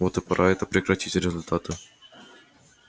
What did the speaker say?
вот и пора это прекратить результаты